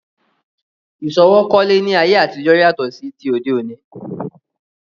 Ìsọwọ́ kólé ni ayé àtijọ́ yàtọ̀ sí ti òde òní